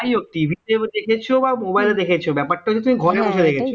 যাইহোক tv তেও দেখছো বা mobile এটাও দেখছো ব্যাপারটা হচ্ছে তুমি ঘরে বসে দেখছো